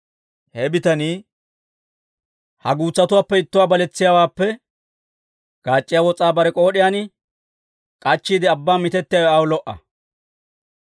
He bitanii ha guutsatuwaappe ittuwaa baletsiyaawaappe, gaac'c'iyaa wos'aa bare k'ood'iyaan k'ashettiide abbaan mitettiyaawe aw lo"a.